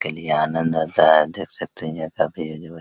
के लिए आनंद होता है देख सकते है जो काफी